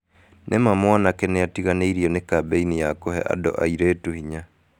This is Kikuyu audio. Nĩ ma mwanake nĩ atiganĩirio nĩ kambĩini ya kũhe andũ airĩtu hinya?